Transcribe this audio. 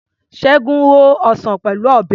Ṣẹ́gun ho ọsàn Pẹ̀lú Ọ̀bẹ.